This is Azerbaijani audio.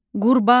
Qurbağa.